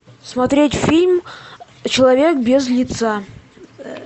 смотреть фильм человек без лица